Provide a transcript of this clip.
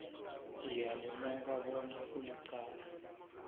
ngiyalimuka bona kulicala